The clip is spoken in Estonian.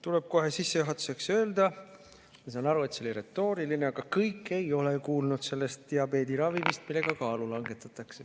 Tuleb kohe sissejuhatuseks öelda – ma saan küll aru, et see oli retooriline –, et kõik ei ole kuulnud sellest diabeediravimist, millega kaalu langetatakse.